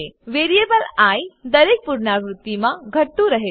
variable I દરેક પુનરાવૃત્તિમાં ઘટતું રહે છે